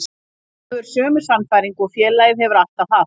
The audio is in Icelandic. Hann hefur sömu sannfæringu og félagið hefur alltaf haft.